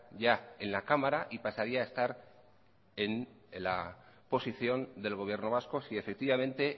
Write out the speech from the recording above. ya en la cámara y pasaría a estar en la posición del gobierno vasco si efectivamente